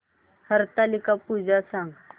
हरतालिका पूजा सांग